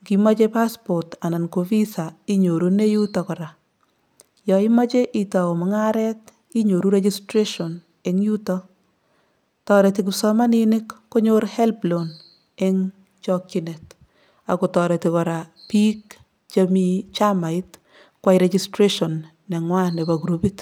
Nkimoche passport anan ko visa inyorune yuto kora. Yoimoche itau mung'aret inyoru registration eng yuto. Tareti kipsomaninik konyor HELB loan eng chokchinet ak kotareti kora biik chemi chamait koyai registration neng'wa nepo kurupit.